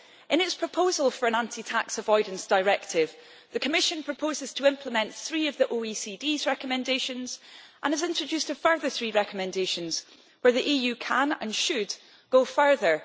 In its proposal for an Anti Tax Avoidance Directive the Commission proposes to implement three of the OECD's recommendations and has introduced a further three recommendations where the EU can and should go further.